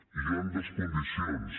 i hi han dues condicions